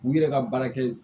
U yɛrɛ ka baara kɛ